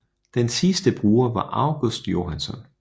Den sidste bruger var August Johansson